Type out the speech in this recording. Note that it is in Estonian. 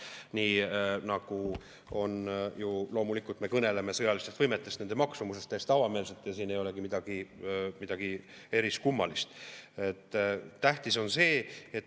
Nii nagu me kõneleme sõjalistest võimetest, nende maksumusest täiesti avameelselt, siin ei olegi midagi eriskummalist.